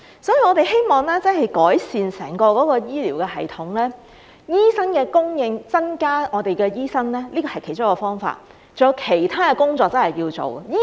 所以，我們希望真的要改善整個醫療系統和醫生的供應，而增加醫生人數是其中一個方法，還有其他工作要做。